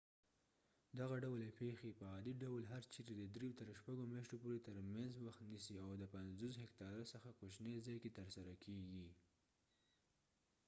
دغه ډول پیښې په عادي ډول هر چیرې د درېو تر شپږو میاشتو پورې تر منځ وخت نیسي او د 50 هکتاره څخه کوچنی ځای کې ترسره کېږي